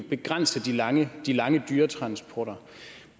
begrænse de lange de lange dyretransporter